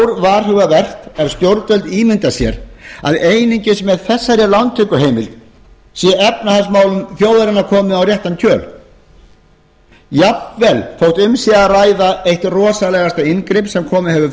er og stórvarhugavert ef stjórnvöld ímynda sér að einungis með þessari lántökuheimild sé efnahagsmálum þjóðarinnar komið á réttan kjöl jafnvel þótt um sé að ræða eitt rosalegasta inngrip sem komið hefur